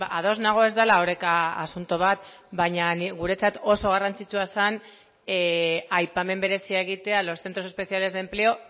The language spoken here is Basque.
ados nago ez dela oreka asunto bat baina guretzat oso garrantzitsua zen aipamen berezia egitea a los centros especiales de empleo